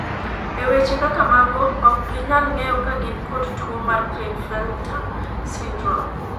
e weche kaka mago, ok ginyal ng'eyo ka gin kod tuo mar Klinefelter syndrome